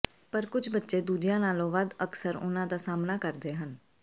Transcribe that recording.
ਪਰ ਕੁਝ ਬੱਚੇ ਦੂਜਿਆਂ ਨਾਲੋਂ ਵੱਧ ਅਕਸਰ ਉਨ੍ਹਾਂ ਦਾ ਸਾਹਮਣਾ ਕਰਦੇ ਹਨ